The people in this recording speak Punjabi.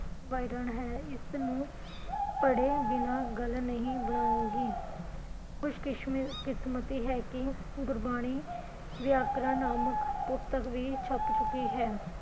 ਵਰਨਣ ਹੈ ਇਸ ਨੂੰ ਪੜੇ ਬਿਨਾ ਗੱਲ ਨਹੀਂ ਬਣਾਉਗੀ ਖੁਸ਼ ਖੁਸ਼ਕਿਸਮਤੀ ਹੈ ਕਿ ਗੁਰਬਾਣੀ ਵਿਆਕਰਨ ਨਾਮਕ ਪੁਸਤਕ ਵੀ ਛਪ ਚੁਕੀ ਹੈ ਹੈ